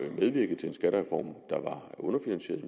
medvirkede til en skattereform der var underfinansieret i